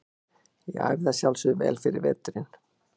Ég æfði að sjálfsögðu vel yfir veturinn.